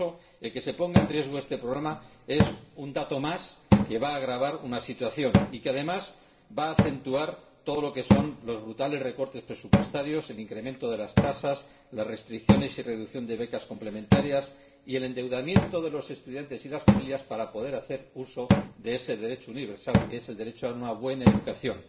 Por eso, que se ponga en riesgo este programa es un dato más que va a agravar una situación y que, además, va a acentuar los brutales recortes presupuestarios, el incremento de las tasas, las restricciones y reducción de becas complementarias y el endeudamiento de los estudiantes y de las familias para poder hacer uso de ese derecho universal que es el derecho a una buena educación.